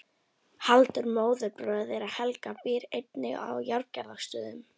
Halldór móðurbróðir þeirra Helga býr einnig að Járngerðarstöðum.